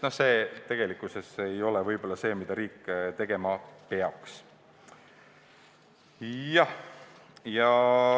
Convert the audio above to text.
See ei ole võib-olla asi, mida riik tegema peaks.